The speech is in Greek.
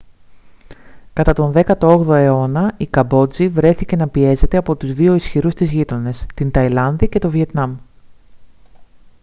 κατά τον 18ο αιώνα η καμπότζη βρέθηκε να πιέζεται από τους δύο ισχυρούς της γείτονες την ταϊλάνδη και το βιετνάμ